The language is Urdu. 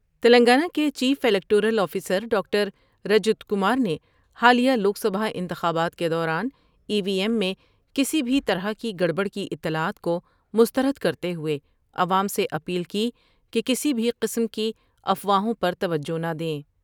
تلنگانہ کے chief electoral officer doctor Rajat Kumar نے حالیہ لوک سبھا انتخابات کے دوران ای وی ایم میں کسی بھی طرح کی گڑ بڑ کی اطلاعات کو مستر دکر تے ہوۓ عوام سے اپیل کی کہ کسی بھی قسم کی افواہوں پر توجہ نہ دیں ۔